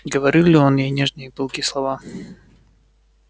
говорил ли он ей нежные и пылкие слова